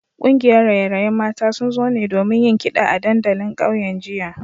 Kungiyar raye-rayen mata sun zo ne domin yin kida a dandalin kauyen jiya